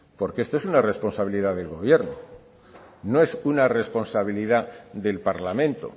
porque esto es una responsabilidad del gobierno no es una responsabilidad del parlamento